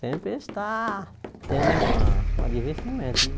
Sempre está tendo uma uma divertimento